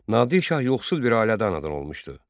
Nadir Şah yoxsul bir ailədən anadan olmuşdu.